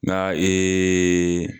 Nka